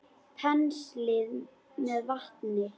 Penslið með vatni.